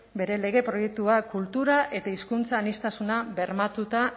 bere lege proiektua kultura eta hizkuntza aniztasuna bermatuta